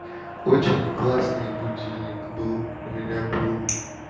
очень классный будильник был у меня был